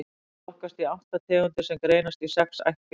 Þeir flokkast í átta tegundir sem greinast í sex ættkvíslir.